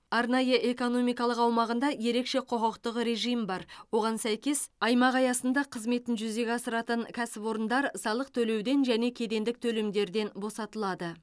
арнайы экономикалық аумағында ерекше құқықтық режим бар оған сәйкес аймақ аясында қызметін жүзеге асыратын кәсіпорындар салық төлеуден және кедендік төлемдерден босатылады